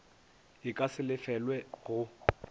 e ka se lefelelwe go